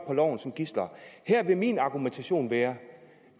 på loven som gidsler her vil min argumentation være